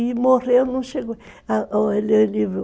E morreu, não chegou